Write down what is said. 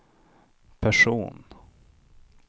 person